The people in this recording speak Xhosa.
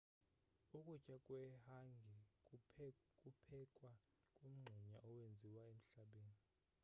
ukutya kwehangi kuphekwa kumngxunya owenziwe emhlabeni